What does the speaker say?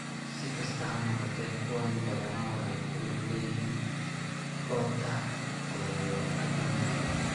Si kastaba ha noqotee, kuwani badanaa waxay ku lug leeyihiin aorta thoracoabdominal.